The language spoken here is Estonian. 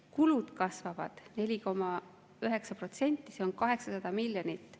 Kulud kasvavad 4,9%, see on 800 miljonit.